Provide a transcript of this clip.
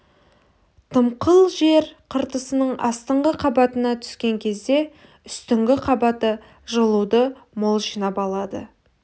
дымқыл жер қыртысының астыңғы қабатына түскен кезде үстіңгі қабаты жылуды мол жинап алады